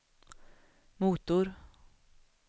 motor